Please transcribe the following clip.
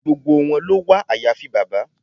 Gbogbo wọn ló wà àyàfi bàbá.